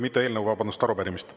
Mitte eelnõu, vabandust, arupärimist.